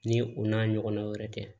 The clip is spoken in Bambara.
Ni u n'a ɲɔgɔnna wɛrɛ tɛ